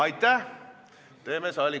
Aitäh, Mihhail Lotmanil oli käsi püsti.